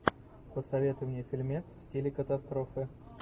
посоветуй мне фильмец в стиле катастрофы